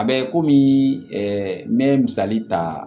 A bɛ komi n bɛ misali ta